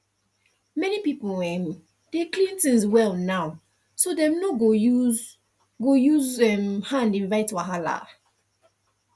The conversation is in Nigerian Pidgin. many people um dey clean things well now so dem no go use go use um hand invite wahala